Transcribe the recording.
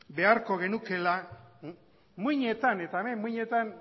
beharko genukela muinetan eta hemen muinetan